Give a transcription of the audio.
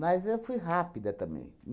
Mas eu fui rápida também.